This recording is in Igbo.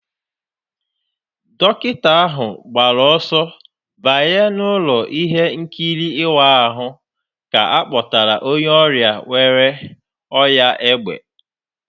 Dọkịta ahụ gbara ọsọ banye n'ụlọ ihe nkiri ịwa ahụ ka a kpọtara onye ọrịa nwere ọnyá égbè